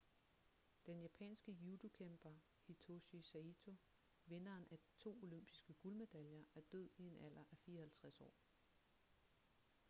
den japanske judokæmper hitoshi saito vinderen af to olympiske guldmedaljer er død i en alder af 54 år